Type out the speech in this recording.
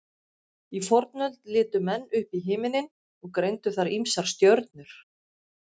í fornöld litu menn upp í himinninn og greindu þar ýmsar stjörnur